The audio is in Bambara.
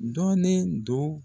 Dɔnnen don